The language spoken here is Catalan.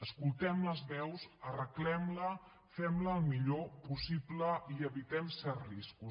escoltem les veus arreglem la fem la el millor possible i evitem certs riscos